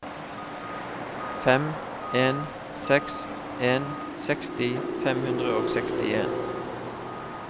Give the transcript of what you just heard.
fem en seks en seksti fem hundre og sekstien